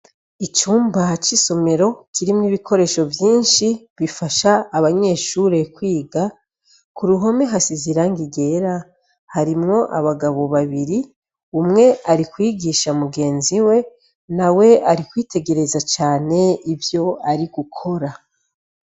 Icumba c’ isomero kirimwo ibikoresho vyinshi bifasha abanyeshure kwiga ku ruhome hasize irangi ryera harimwo abagabo babiri umwe ari kwigisha mugenzi we na we ari kwitegereza cane ivyo ari gukora.